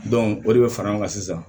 o de bɛ fara ɲɔgɔn kan sisan